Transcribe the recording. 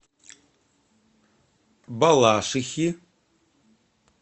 балашихи